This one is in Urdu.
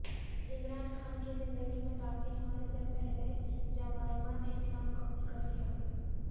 عمران خان کی زندگی میں داخل ہونے سے پہلے جمائما نے اسلام قبول کرلیا